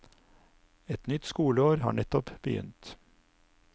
Et nytt skoleår har nettopp begynt.